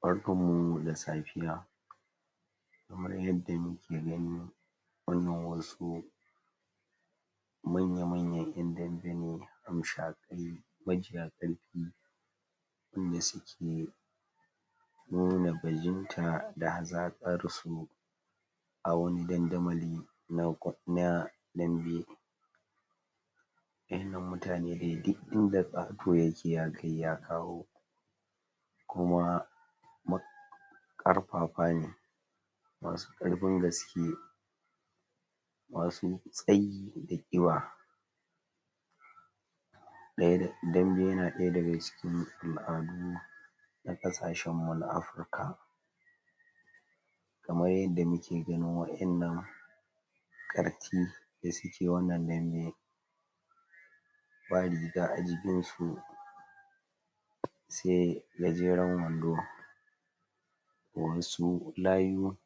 barkan mu da safiya kamar yadda mu ke gani wannan wasu manya manyan yan dambe ne hamsha qai majiya qarfi wanda suke numa bajimta da hazaqarsu a wani damdamali na na dambe wadan nan muta ne duk ida kato yake ya kai ya kawo kuma ƙarfafa ne masu ƙarfin gaske masu tsayi da qiba dambe yana daya daga cikin al'adu na kasashen mu na africa kamar yadda muke ganin wadan nan ƙarti da suke wannan dambe ba riga ajinsu sai gajenren wando wasu layu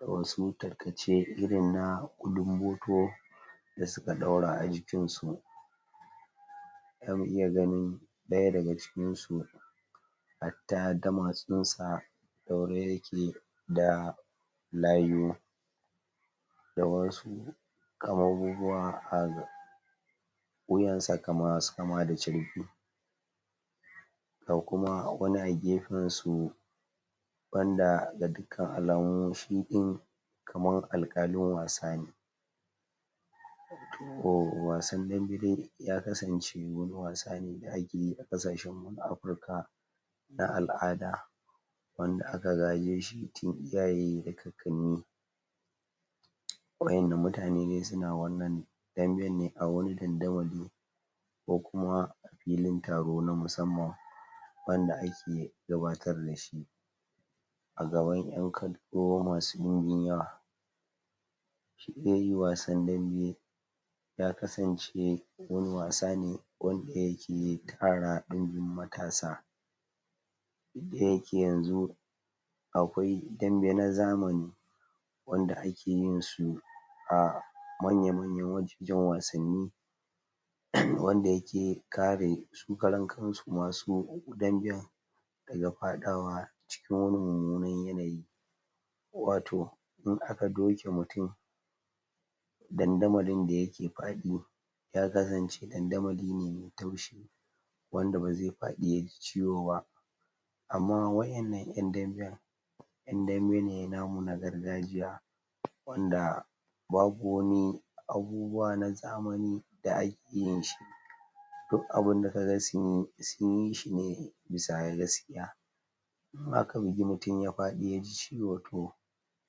wasu takace iri na ƙulun boto da suka daura ajikinsu zamu iya ganin daya daga cikinsu hatta damatsensu daure yake da layu da wasu abubuwa a wuyansa masu kama da charbi ga wani kuma a gefensu wanda da duk alamu shidin kamar alkalin wasa ne wasan dambe ya kasance wani wasa ne da akeyi a kasashen mu na afrika na al'ada wanda aka gajeshi tun iyaye da kakanni wadan nan mutane suna wannan damben ne a wani damda mali ko kuma fili taro na musamman wanda ake gabar da shi a gaban yan kallo masu yawa shi dai wasan dambe wani wasa ne wanda yake tara dinbin matasa da yake yanzu dambe na zamani wanda akeyinsu a manyan manyan wajajen wassani wanda ya ke kare su karen kansu masu damben daga fada wa cikin mumunar yanayi wato in aka doke mutum dadanmalin da yake fadi ya kasan ce dadandamali ne mai taushi wanda bazai fadi yaji ciwo ba amma wadanan yan damben yan dambe ne namu na gargajiya wanda babu wani abu babu abubuwa na zamani wanda akeyinshi duk abunda kaga sunyi sunyishi ne bisa gaskiya in aka bugi mutum ya fadi yaji ciwo to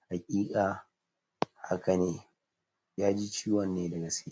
haqiqa haka haka ne yaji ciwon ne da gaske.